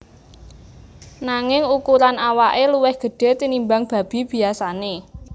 Nanging ukuran awake luwih gedhe tinimbang babi biyasane